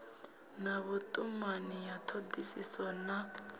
na vhutumani ya thodisiso na